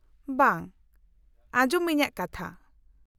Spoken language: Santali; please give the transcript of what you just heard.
-ᱵᱟᱝ, ᱟᱸᱡᱚᱢ ᱢᱮ ᱤᱧᱟᱹᱜ ᱠᱟᱛᱷᱟ ᱾